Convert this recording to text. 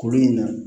Kuru in na